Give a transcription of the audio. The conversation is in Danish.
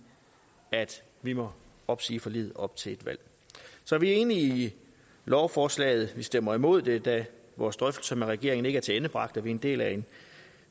at vi må opsige forliget op til et valg så vi er enige i lovforslaget vi stemmer imod det da vores drøftelser med regeringen ikke er tilendebragt da vi er en del af en